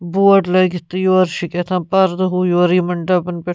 .board لٲگِتھ تہٕ یورٕ چُھ کہتام پردٕ ہیوٗ یورٕ یِمن ڈبن پٮ۪ٹھ